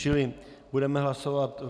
Čili budeme hlasovat.